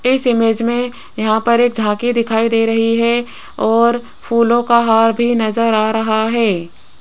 इस इमेज में यहां पर एक झांकी दिखाई दे रही है और फूलों का हार भी नजर आ रहा है।